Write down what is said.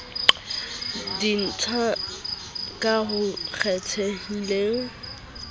di indasteri ka ho kgethehileng